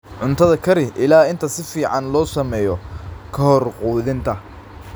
Cuntada kari ilaa inta si fiican loo sameeyo ka hor quudinta.